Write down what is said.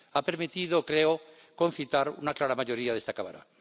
Ha permitido —creo— concitar una clara mayoría de esta Cámara.